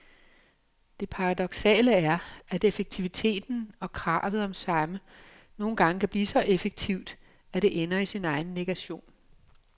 Det paradoksale er, at effektiviteten og kravet om samme nogle gange kan blive så effektivt, at det ender i sin egen negation.